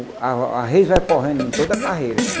A a reise vai correndo em toda carreira.